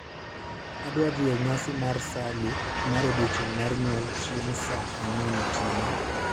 Adwa dhi e nyasi mar Sally mar odiechieng' mar nyuol chieng' saa ang'wen otieno